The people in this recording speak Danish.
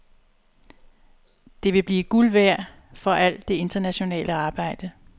Det vil blive guld værd for al det internationale arbejde.